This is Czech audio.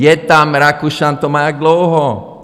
Je tam - Rakušan to má jak dlouho?